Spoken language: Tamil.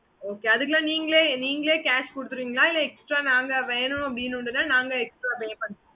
okay mam